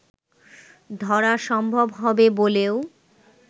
ধরা সম্ভব হবে বলেও